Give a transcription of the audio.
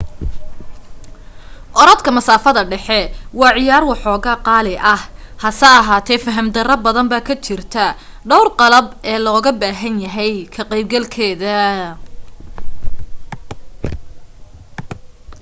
orodka masaafada dhexe waa ciyaar waxooga qaali ah hase ahaatee faham darro badan baa ka jirta dhowr qalab ee looga baahan yahay ka qayb galkeeda